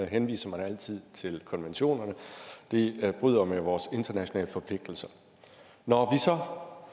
henviser man altid til konventionerne de bryder med vores internationale forpligtelser når